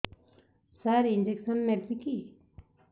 ସାର injection ନେବିକି